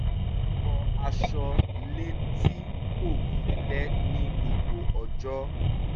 ó wọ aṣọ le tí kò fẹ́lẹ́ ní gbogbo ọjọ́